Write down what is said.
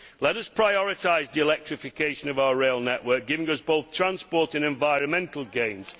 Let us prioritise the electrification of our rail network, giving us both transport and environmental gains.